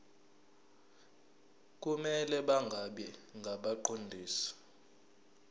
kumele bangabi ngabaqondisi